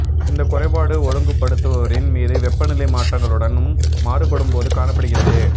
இந்த குறைபாடு ஒழுங்குபடுத்துபவரின் மீது வெப்பநிலை மாற்றங்களுடனும் மாறுபடும் போது காணப்படுகிறது